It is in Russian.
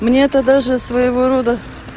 мне это даже своего рода